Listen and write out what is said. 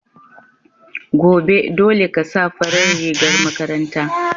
Gobe, dole ka sa farar rigar makaranta.